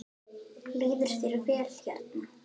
Líður þér vel hérna?